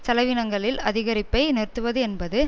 செலவினங்களில் அதிகரிப்பை நிறுத்துவது என்பது